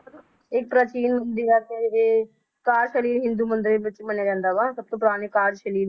ਇਹ ਪ੍ਰਾਚੀਨ ਹਿੰਦੂ ਮੰਦਿਰ ਵਿਚ ਮੰਨਿਆ ਜਾਂਦਾ ਵਾ ਸਬਤੋਂ ਪੁਰਾਣੇ